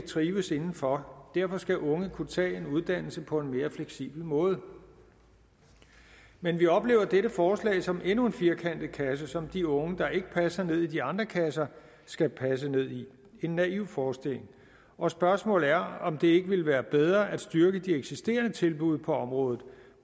trives inden for og derfor skal unge kunne tage en uddannelse på en mere fleksibel måde men vi oplever dette forslag som endnu en firkantet kasse som de unge der ikke passer ned i de andre kasser skal passe ned i en naiv forestilling og spørgsmålet er om det ikke ville være bedre at styrke de eksisterende tilbud på området